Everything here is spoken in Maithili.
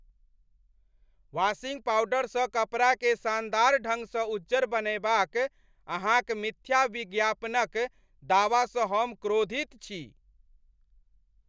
वाशिंग पाउडरसँ कपड़ाकेँ शानदार ढंगसँ उज्जर बनयबाक अहाँक मिथ्या विज्ञापनक दावासँ हम क्रोधित छी।